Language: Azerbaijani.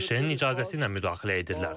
ABŞ-ın icazəsi ilə müdaxilə edirlər.